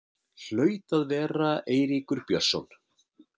Hlaut að vera Eiríkur Björnsson.